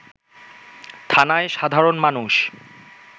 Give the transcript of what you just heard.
থানায় সাধারণ মানুষ